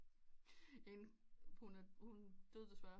En hun døde desværre